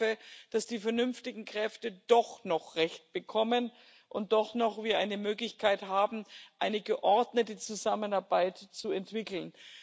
Ich hoffe, dass die vernünftigen Kräfte doch noch recht bekommen und wir doch noch eine Möglichkeit haben, eine geordnete Zusammenarbeit zu entwickeln.